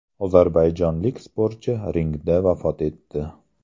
Ozarbayjonlik sportchi ringda vafot etdi.